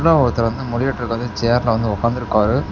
ஒருத்தரு வந்து முடிவெட்டுவதற்கு வந்து சேர்ல வந்து உக்கந்திருக்காரு.